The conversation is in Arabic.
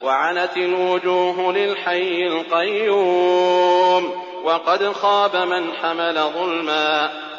۞ وَعَنَتِ الْوُجُوهُ لِلْحَيِّ الْقَيُّومِ ۖ وَقَدْ خَابَ مَنْ حَمَلَ ظُلْمًا